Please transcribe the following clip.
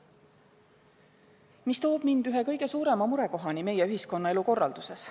See toob mind ühe kõige suurema murekohani meie ühiskonnaelu korralduses.